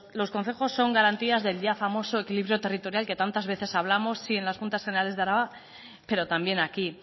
los concejos son garantías del ya famosos equilibrio territorial que tantas veces hablamos sí en las juntas generales de álava pero también aquí